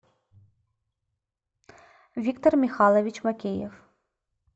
виктор михайлович макеев